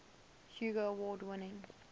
hugo award winning